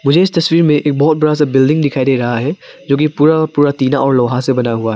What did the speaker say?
मुझे इस तस्वीर में एक बहुत बड़ा सा बिल्डिंग दिखाई दे रहा है जो कि पूरा पूरा टीना और लोहा से बना है।